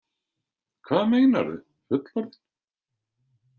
Hvað meinarðu, fullorðinn?